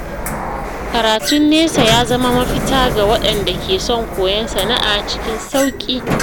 Karatun nesa ya zama mafita ga waɗanda ke son koyon sana’a cikin sauƙi.